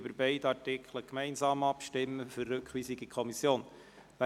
Dann stimmen wir gemeinsam bei beiden Artikeln über deren Rückweisung an die Kommission ab.